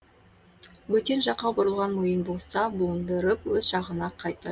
бөтен жаққа бұрылған мойын болса буындырып өз жағына қайта